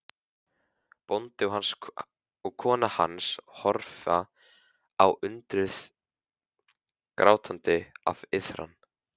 Bóndi og kona hans horfa á undrið, grátandi af iðran.